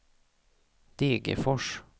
Degerfors